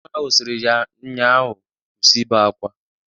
Nne nnwa ahụ siri ya nnya ahụ, "Kwụsị ibe akwa!"